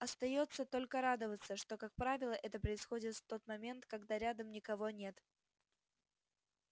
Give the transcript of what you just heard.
остаётся только радоваться что как правило это происходит в тот момент когда рядом никого нет